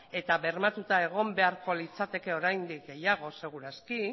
eta bermatuta egon beharko litzateke oraindik gehiago seguru aski